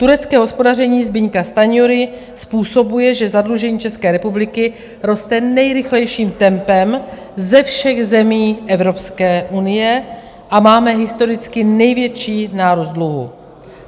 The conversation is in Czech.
Turecké hospodaření Zbyňka Stanjury způsobuje, že zadlužení České republiky roste nejrychlejším tempem ze všech zemí Evropské unie a máme historicky největší nárůst dluhu.